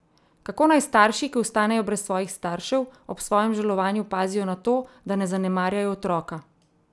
Kako naj starši, ki ostanejo brez svojih staršev, ob svojem žalovanju pazijo na to, da ne zanemarjajo otroka?